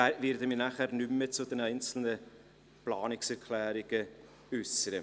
Ich werde mich nicht mehr zu den einzelnen Planungserklärungen äussern.